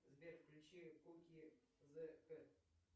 сбер включи куки зе кэт